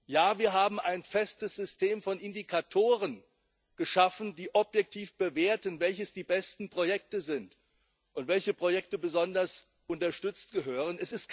Ja, wir haben ein festes System von Indikatoren geschaffen, die objektiv bewerten, welches die besten Projekte sind und welche Projekte besonders unterstützt gehören.